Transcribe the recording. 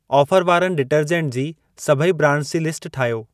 Offer वारनि detergent जी सभई ब्रांडस जी लिस्ट ठाहियो।